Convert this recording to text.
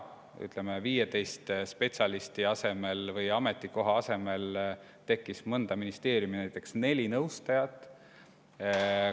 Ütleme, 15 spetsialisti asemel või 15 ametikoha asemel pidid töö ära tegema näiteks neli nõustajat mõnes ministeeriumis.